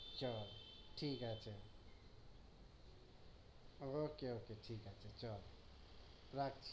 চল ঠিক আছে okay okay ঠিক আছে চল রাখছি